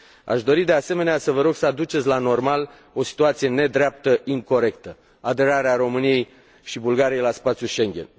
Aș dori, de asemenea, să vă rog să aduceți la normal o situație nedreaptă, incorectă aderarea României și Bulgariei la spațiul Schengen.